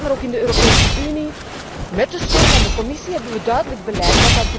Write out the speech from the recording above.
In dit Parlement, maar ook in de Europese Unie, met de steun van de Commissie, hebben we duidelijk beleid.